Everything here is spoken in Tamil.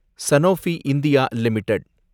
Sanofi India limited